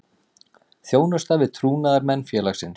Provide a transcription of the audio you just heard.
Þjónusta við trúnaðarmenn félagsins.